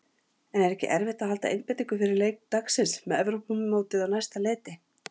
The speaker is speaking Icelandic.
En er ekki erfitt að halda einbeitingu fyrir leik dagsins með Evrópumótið á næsta leyti?